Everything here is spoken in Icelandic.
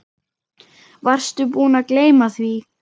Varstu búinn að gleyma því?